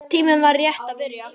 Tíminn var rétt að byrja.